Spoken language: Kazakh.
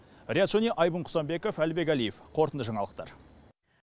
риат шони айбын құсанбеков әлібек әлиев қорытынды жаңалықтар